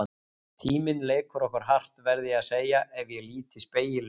Tíminn leikur okkur hart, verð ég að segja ef ég lít í spegil nú.